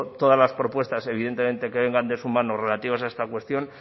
todas las propuestas evidentemente que vengan de su mano relativas a esta cuestión